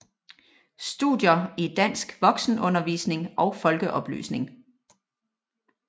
Studier i dansk voksenundervisning og folkeoplysning